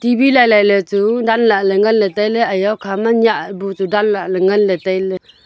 lailaI ley chu danla ngan ley tailey iya hukha ma chu nyah bu chu danla le ngan le tailey.